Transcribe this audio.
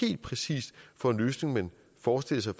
helt præcis for en løsning man forestiller sig